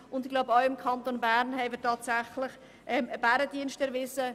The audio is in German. Ich glaube, wir haben dem Kanton Bern einen Bärendienst erwiesen.